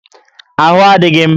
Ahụ adịghị m